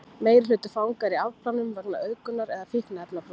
meirihluti fanga er í afplánun vegna auðgunar eða fíkniefnabrota